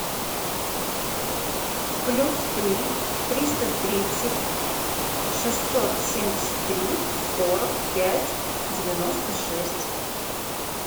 плюс три триста тридцать шестьсот семьдесят три сорок пять девяносто шесть